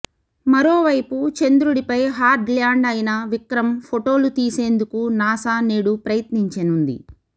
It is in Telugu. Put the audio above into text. మరోవైపు చంద్రుడిపై హార్డ్ ల్యాండ్ అయిన విక్రమ్ ఫొటోలు తీసేందుకు నాసా నేడు ప్రయత్నించనుంది